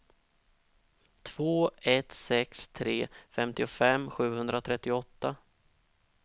två ett sex tre femtiofem sjuhundratrettioåtta